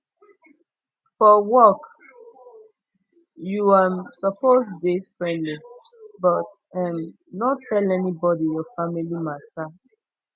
for work you um suppose dey frendly but um no tell anybodi your family mata